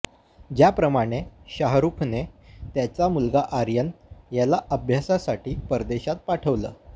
ज्याप्रमाणे शाहरुखने त्याचा मुलगा आर्यन याला अभ्यासासाठी परदेशात पाठवलं